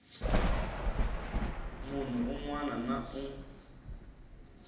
munhu un wana na un